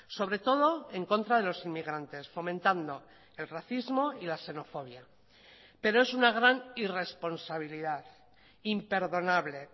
sobre todo en contra de los inmigrantes fomentando el racismo y la xenofobia pero es una gran irresponsabilidad imperdonable